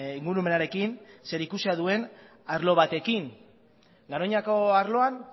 ingurumenarekin zerikusia duen arlo batekin garoñako arloan